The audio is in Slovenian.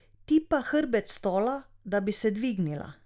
Tipa hrbet stola, da bi se dvignila.